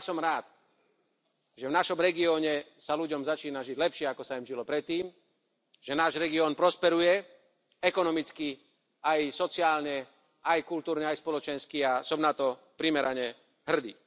A ja som rád, že v našom regióne sa ľuďom začína žiť lepšie, ako sa im žilo predtým, že náš región prosperuje ekonomicky, aj sociálne, aj kultúrne, aj spoločensky, a som na to primerane hrdý.